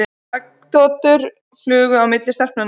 Augnagotur flugu á milli stelpnanna.